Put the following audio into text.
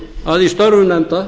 að í störfum nefnda